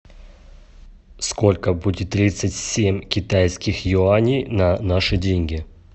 сколько будет тридцать семь китайских юаней на наши деньги